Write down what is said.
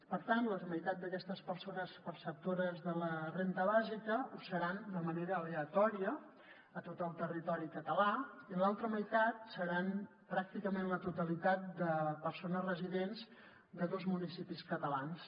per tant la meitat d’aquestes persones perceptores de la renda bàsica ho seran de manera aleatòria a tot el territori català i l’altra meitat seran pràcticament la totalitat de persones residents de dos municipis catalans